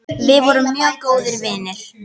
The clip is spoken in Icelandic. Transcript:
Við vorum mjög góðir vinir.